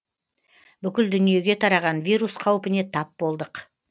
бүкіл дүниеге тараған вирус қаупіне тап болдық